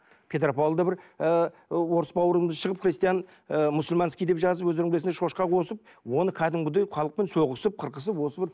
петропавлда бір ы орыс бауырымыз шығып христиан ы мусульманский деп жазып өздерің білесіңдер шошқа қосып оны кәдімгідей халықпен соғысып қырқысып осы бір